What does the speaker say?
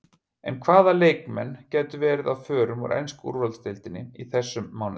En hvaða leikmenn gætu verið á förum úr ensku úrvalsdeildinni í þessum mánuði?